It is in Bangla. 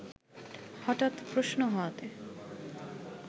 হঠাৎ প্রশ্ন হওয়াতে